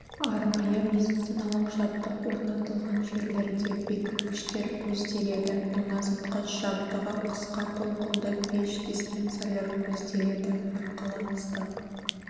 арнайы медициналық жабдық орнатылған жерлерде бекіткіштер көзделеді тоңазытқыш жабдығы қысқа толқынды пеш диспенсерлер көзделеді арқылы ыстық